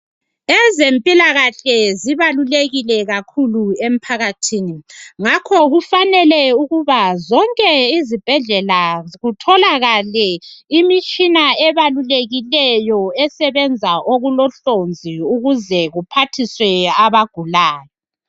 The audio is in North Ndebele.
Ezempilakahle zibalulekile kakhulu emphakathini. Ngakho kufanele ukuba zonke izibhedlela kutholakale imitshina ebalulekileyo esebenza okulohlonzi ukuze kuphathiswe abagulayo.